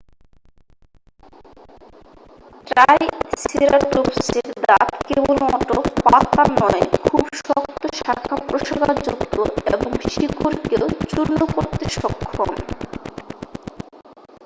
ট্রাইসেরাটোপসের দাঁত কেবলমাত্র পাতা নয় খুব শক্ত শাখা-প্রশাখাযুক্ত এবং শিকড়কেও চূর্ণ করতে সক্ষম